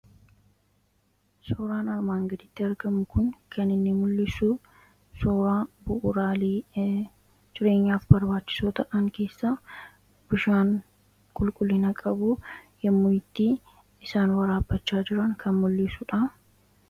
suuraan armaan gadiitti argamu kun kan inni mul'isu suuraa bu'uraalee jireenyaaf barbaachisoo ta'an keessa bishaan qulqullina qabu yemmuu itti isaan waraabachaa jiraan kan mul'isuudha.